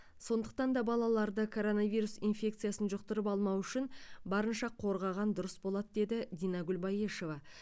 сондықтан да балаларды коронавирус инфекциясын жұқтырып алмауы үшін барынша қорғаған дұрыс болады деді динагүл баешева